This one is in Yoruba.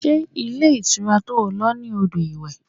Ṣé ilé ìtura to lọ ní odò iwe?